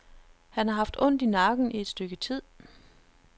Han har haft ondt i nakken i et stykke tid.